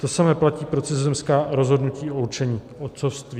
To samé platí pro cizozemská rozhodnutí o určení otcovství.